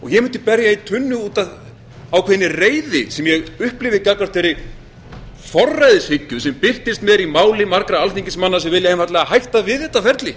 ég mundi berja í mínu út af ákveðinni reiði sem ég upplifi gagnvart þeirri forræðishyggju sem birtist mér í máli margra alþingismanna sem vilja einfaldlega hætta við þetta ferli